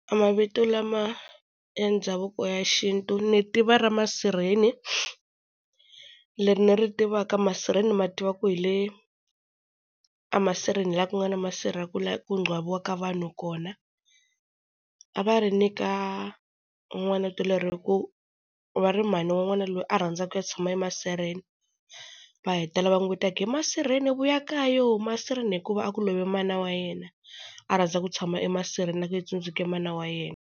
Mavito lama e ndhavuko ya xintu ni tiva ra Masirheni, leri ni ri tivaka masirheni ni ma tiva ku hi le emasirheni hi laha ku nga na masirha ku ncwabiwaka vanhu kona. A va ri nyika n'wana vito leri hi ku va ri mhani wa n'wana loyi a rhandza ku ya tshama emasirheni. Va heta va n'wi vita va ku he Masirheni vuya kayo Masirheni hikuva a ku love mana wa yena, a rhandza ku tshama emasirheni loko a tsundzuka mana wa yena.